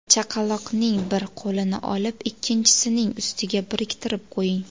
Chaqaloqning bir qo‘lini olib, ikkinchisining ustiga biriktirib qo‘ying.